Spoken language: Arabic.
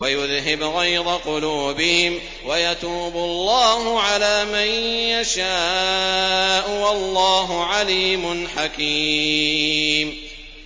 وَيُذْهِبْ غَيْظَ قُلُوبِهِمْ ۗ وَيَتُوبُ اللَّهُ عَلَىٰ مَن يَشَاءُ ۗ وَاللَّهُ عَلِيمٌ حَكِيمٌ